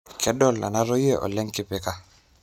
kedol nanotie olenkipika